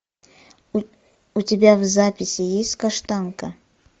у тебя в записи есть каштанка